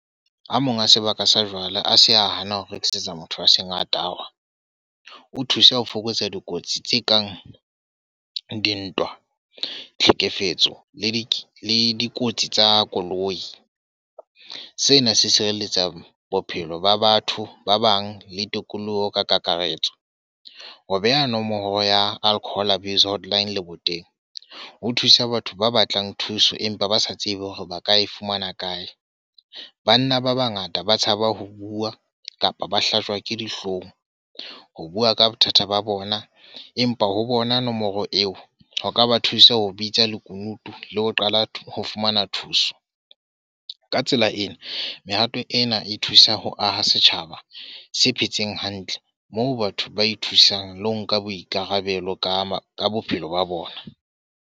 A mang a sebaka sa jwala a se a hana ho rekisetsa motho a seng a tawa. O thusa ho fokotsa dikotsi tse kang dintwa, tlhekefetso le di dikotsi tsa koloi. Sena se sireletsa bophelo ba batho ba bang le tokoloho ka kakaretso. Ho beha nomoro ya alcohol abuse hotline Lebo teng, ho thusa batho ba batlang thuso empa ba sa tsebe hore ba ka e fumana kae. Banna ba bangata ba tshaba ho bua, kapa ba hlajwe ke dihlong ho bua ka bothata ba bona. Empa ho bona nomoro eo ho ka ba thusa ho bitsa lekunutu le ho qala ho fumana thuso. Ka tsela ena, mehato ena e thusa ho aha setjhaba se phetseng hantle. Moo batho ba ithusang le ho nka boikarabelo ka ka bophelo ba bona.